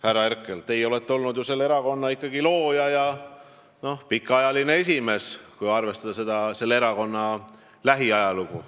Härra Herkel, teie olete olnud ju selle erakonna looja ja pikaajaline esimees, kui silmas pidada lähiajalugu.